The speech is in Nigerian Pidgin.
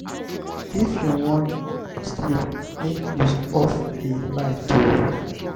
if you wan sleep make you off di light o.